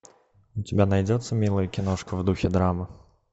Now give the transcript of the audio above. у тебя найдется милая киношка в духе драмы